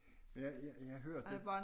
Jeg jeg jeg hørte